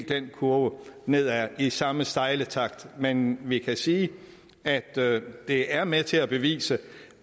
den kurve nedad i helt samme stejle takt men vi kan sige at det er med til at bevise